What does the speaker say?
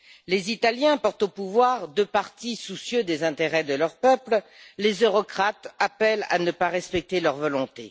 Les Italiens portent au pouvoir deux partis soucieux des intérêts de leur peuple, les eurocrates appellent à ne pas respecter leur volonté.